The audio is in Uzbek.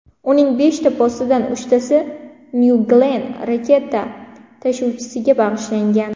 Uning beshta postidan uchtasi New Glenn raketa tashuvchisiga bag‘ishlangan.